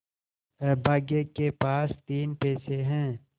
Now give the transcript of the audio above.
अभागे के पास तीन पैसे है